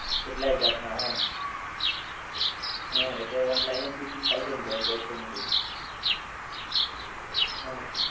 કેટલાય જાત ના આવે આમ હ અત્યારે online અજ booking થાય છે burger છે ને એવું બધું હા